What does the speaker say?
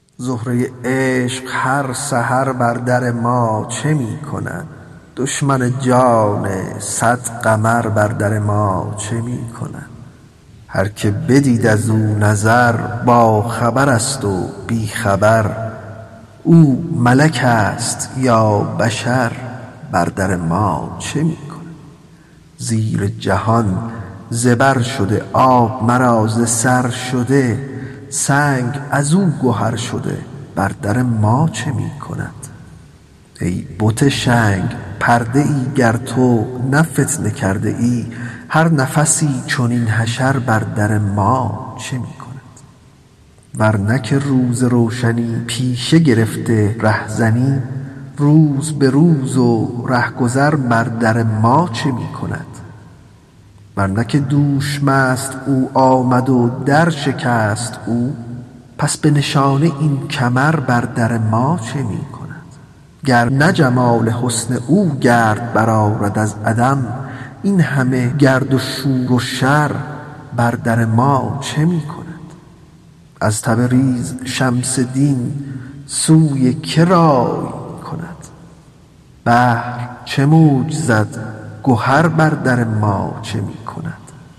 زهره عشق هر سحر بر در ما چه می کند دشمن جان صد قمر بر در ما چه می کند هر که بدید از او نظر باخبرست و بی خبر او ملکست یا بشر بر در ما چه می کند زیر جهان زبر شده آب مرا ز سر شده سنگ از او گهر شده بر در ما چه می کند ای بت شنگ پرده ای گر تو نه فتنه کرده ای هر نفسی چنین حشر بر در ما چه می کند گر نه که روز روشنی پیشه گرفته رهزنی روز به روز و ره گذر بر در ما چه می کند ور نه که دوش مست او آمد و درشکست او پس به نشانه این کمر بر در ما چه می کند گر نه جمال حسن او گرد برآرد از عدم این همه گرد شور و شر بر در ما چه می کند از تبریز شمس دین سوی که رای می کند بحر چه موج زد گهر بر در ما چه می کند